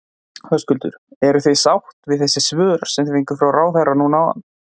Höskuldur: Eruð þið sátt við þessi svör sem þið fenguð frá ráðherra núna áðan?